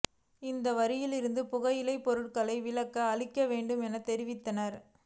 இந்த வரியிலிருந்து புகையிலை பொருட்களுக்கு விலக்கு அளிக்க வேண்டும் என தெரிவித்தார்